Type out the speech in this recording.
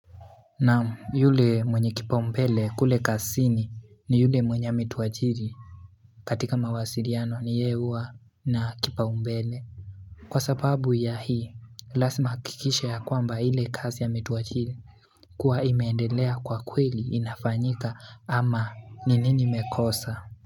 Naam, yule mwenye kipaumbele kule kazini ni yule mwenye ametuajiri. Katika mawasiliano ni yeye huwa na kipaumbele. Kwa sababu ya hii lazima ahakikishe ya kwamba ile kazi ametuajiri kuwa imeendelea kwa kweli inafanyika ama ni nini imekosa.